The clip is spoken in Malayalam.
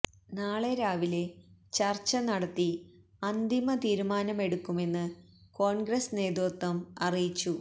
നാളെ രാവിലെ ചര്ച്ച നടത്തി അന്തിമ തീരുമാനമെടുക്കുമെന്ന് കോണ്ഗ്രസ് നേതൃത്വം അറിയച്ചു